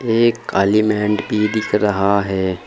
एक काली भी दिख रहा है।